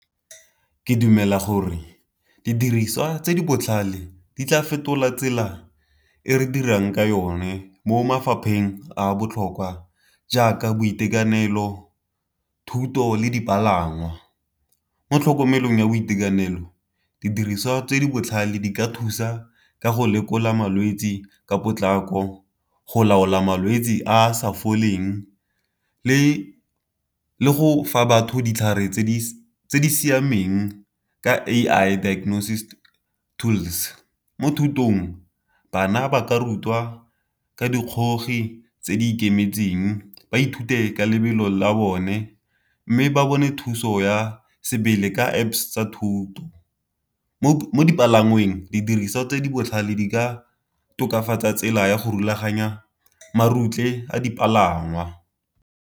Ke dumela gore didiriswa tse di botlhale di tla fetola tsela e re dirang ka yone mo mafapheng a a botlhokwa jaaka boitekanelo, thuto, le dipalangwa. Mo tlhokomelong ya boitekanelo didiriswa tse di botlhale di ka thusa ka go lekola malwetsi ka potlako, go laola malwetsi a a sa foleng, le le go fa batho ditlhare tse di siameng ka A_I dignosis tools. Mo thutong bana ba ka rutwa ka dikgogi di tse di ikemetseng ba ithute ka lebelo la bone mme ba bone thuso ya sebele ka Apps tsa thuto, mo dipalangweng didiriswa tse di botlhale di ka tokafatsa tsela ya go rulaganya marutle a dipalangwa.